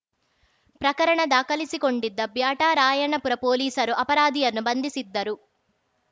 ಪ್ರಕರಣ ದಾಖಲಿಸಿಕೊಂಡಿದ್ದ ಬ್ಯಾಟರಾಯನಪುರ ಪೊಲೀಸರು ಅಪರಾಧಿಯನ್ನು ಬಂಧಿಸಿದ್ದರು